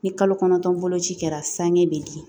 Ni kalo kɔnɔntɔn boloci kɛra sange bɛ di